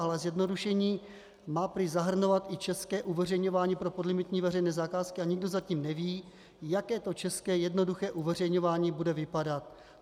Ale zjednodušení má prý zahrnovat i české uveřejňování pro podlimitní veřejné zakázky a nikdo zatím neví, jak to české jednoduché uveřejňování bude vypadat.